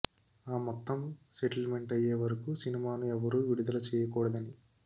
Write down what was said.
ఆ మొత్తం settlement అయ్యేవరకు సినిమాను ఎవ్వరూ విడుదల చేయకూడదని